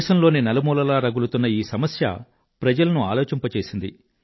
దేశంలోని నలుమూలలా రగులుతున్న ఈ సమస్య ప్రజలను ఆలోచింపజేసింది